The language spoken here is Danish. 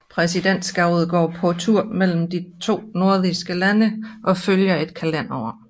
Præsidentskabet går på tur mellem de nordiske lande og følger et kalenderår